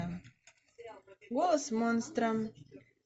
голос монстра